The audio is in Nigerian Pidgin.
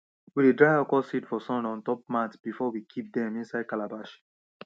we dey dry okro seeds for sun on top mat before we kip dem inside calabash